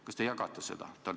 Kas te jagate seda seisukohta?